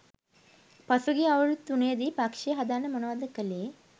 පසුගිය අවුරුදු තුනේදී පක්‍ෂය හදන්න මොනවද කළේ